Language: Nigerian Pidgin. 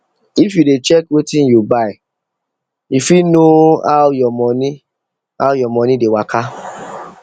if you dey check wetin you buy you fit know how your money how your money dey waka